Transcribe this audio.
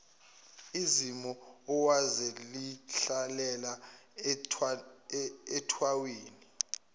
uzimu owayezihlalela ethawini